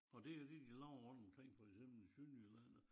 Og det jo det de laver rundt omkring for eksempel i Sønderjylland og